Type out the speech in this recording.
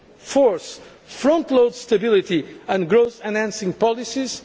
fourth, frontload stability and growth enhancing policies